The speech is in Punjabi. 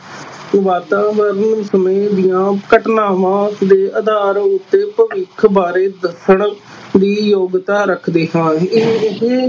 ਵਾਤਾਵਰਨ ਸਮੇਂ ਦੀਆਂ ਘਟਨਾਵਾਂ ਦੇ ਆਧਾਰ ਉੱਤੇ ਭਵਿੱਖ ਬਾਰੇ ਦੱਸਣ ਦੀ ਯੋਗਤਾ ਰੱਖਦੇ ਹਾਂ